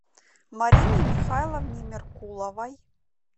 марине михайловне меркуловой